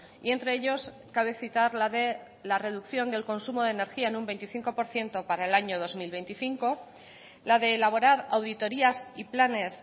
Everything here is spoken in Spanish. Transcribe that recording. y entre ellos cabe citar la de la reducción del consumo de energía en un veinticinco por ciento para el año dos mil veinticinco la de elaborar auditorías y planes